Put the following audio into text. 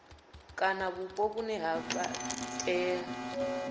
kana vhupo vhune ha iitela